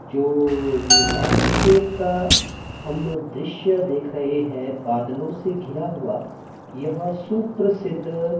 जो यह लैंडस्केप का हम दृश्य देख रहे हैं बादलों से घिरा हुआ यह सुप्रसिद्ध--